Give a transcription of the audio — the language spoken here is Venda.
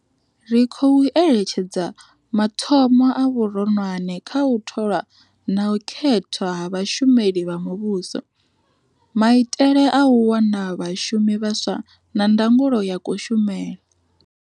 Ri khou eletshedza mathomo a vhuronwane kha u tholwa na u khethwa ha vhashumeli vha muvhuso, maitele a u wana vhashumi vhaswa na ndangulo ya kushumele.